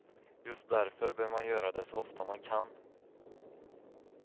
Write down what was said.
Just därför bör man göra det så ofta man kan.